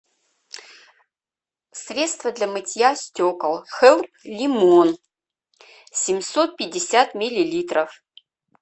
средство для мытья стекол хелп лимон семьсот пятьдесят миллилитров